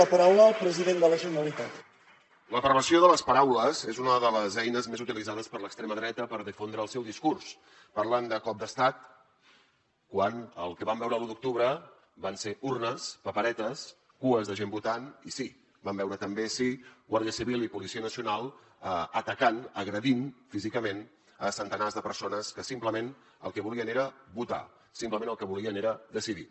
la perversió de les paraules és una de les eines més utilitzades per l’extrema dreta per difondre el seu discurs parlant de cop d’estat quan el que vam veure l’u d’octubre van ser urnes paperetes cues de gent votant i sí vam veure també sí guàrdia civil i policia nacional atacant agredint físicament centenars de persones que simplement el que volien era votar simplement el que volien era decidir